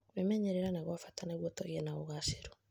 Kũĩmenyerera nĩ gwa bata nĩguo tũgie na ũgaacĩru.